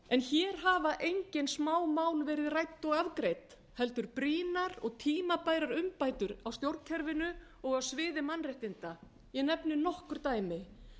hér hafa engin smámál verið rædd og afgreidd heldur brýnar og tímabærar umbætur á stjórnkerfinu og á sviði mannréttinda ég nefni nokkur dæmi